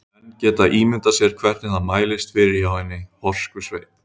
Menn geta ímyndað sér hvernig það mælist fyrir hjá hinni horsku sveit.